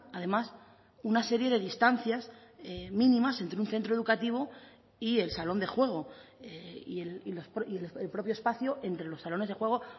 además una serie de distancias mínimas entre un centro educativo y el salón de juego y el propio espacio entre los salones de juego